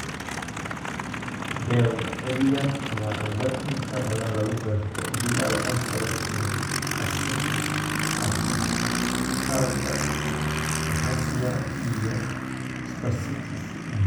Behr cilada waa cillad inta badan lagu garto bilowga hore ee atrophy aragga, ataxia, iyo spasticity.